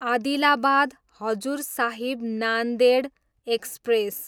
Adilabad, Hazur Sahib Nanded express